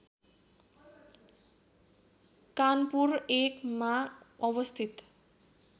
कानपुर १ मा अवस्थित